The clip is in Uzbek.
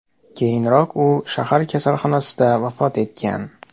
Keyinroq u shahar kasalxonasida vafot etgan.